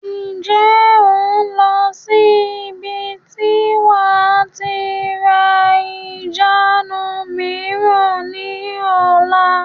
Ǹjẹ́ o n lọ sí ibi tí wàá tí ra ìjánu mìíràn ni ọ̀la?